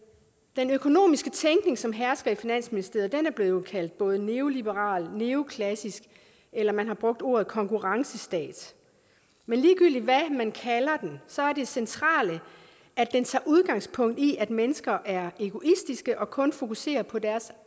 den økonomiske tænkning som hersker i finansministeriet er blevet kaldt både neoliberal og neoklassisk eller man har brugt ordet konkurrencestat men ligegyldigt hvad man kalder den så er det centrale at den tager udgangspunkt i at mennesker er egoistiske og kun fokuserer på deres